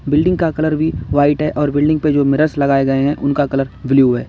Building का colour भी white है और बिल्डिंग पे जो मिरर्स लगाए गए है उनका कलर ब्ल्यू है।